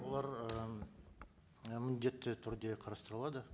олар ыыы міндетті түрде қарастырылады